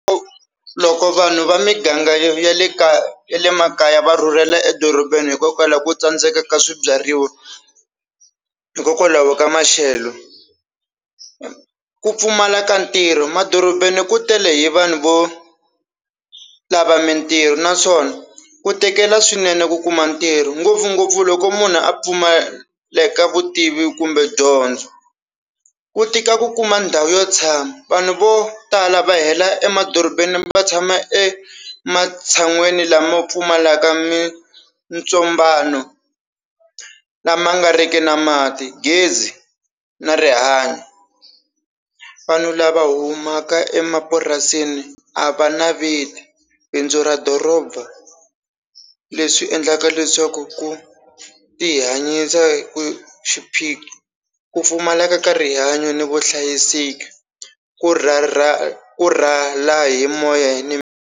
Loko vanhu va miganga ya le makaya va rhurhela edorobeni hikokwalaho ku tsandzeka ka swibyariwa hikokwalaho ka maxelo ku pfumala ka ntirho madorobeni ku tele hi vanhu vo lava mintirho naswona ku tekela swinene ku kuma ntirho ngopfungopfu loko munhu a pfumaleka vutivi kumbe dyondzo ku tika ku kuma ndhawu yo tshama vanhu vo tala va hela emadorobeni va tshama e ematshan'wini lama pfumalaka mintsobano lama nga riki na mati gezi na rihanyo vanhu lava humaka emapurasini a va na bindzu ra doroba leswi endlaka leswaku ku ti hanyisa ku xiphiqo ku pfumaleka ka rihanyo ni vuhlayiseki ku ra ra ku rhwala hi moya hi ni.